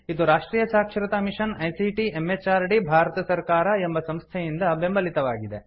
ಇದು ರಾಷ್ಟ್ರಿಯ ಸಾಕ್ಷರತಾ ಮಿಷನ್ ಐಸಿಟಿ ಎಂಎಚಆರ್ಡಿ ಭಾರತ ಸರ್ಕಾರ ಎಂಬ ಸಂಸ್ಥೆಯಿಂದ ಬೆಂಬಲಿತವಾಗಿದೆ